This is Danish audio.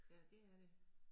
Ja det er det